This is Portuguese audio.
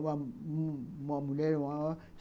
Uma uma mulher maior.